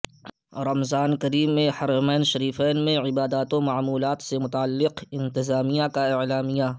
رمضان کریم میں حرمین شریفین میں عبادات ومعمولات سے متعلق انتظامیہ کا اعلامیہ